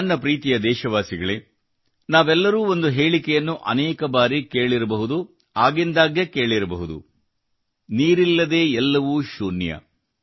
ನನ್ನ ಪ್ರೀತಿಯ ದೇಶವಾಸಿಗಳೇ ನಾವೆಲ್ಲರೂ ಒಂದು ಹೇಳಿಕೆಯನ್ನು ಅನೇಕ ಬಾರಿ ಕೇಳಿರಬಹುದು ಆಗಿಂದಾಗ್ಗೆ ಕೇಳಿರಬಹುದು ಅದೆಂದರೆ ನೀರಿಲ್ಲದೇ ಎಲ್ಲವೂ ಶೂನ್ಯ